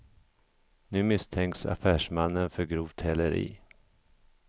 Nu misstänks affärsmannen för grovt häleri.